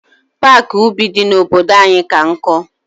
Paaki ubi dị n'obodo anyị ka nkụ.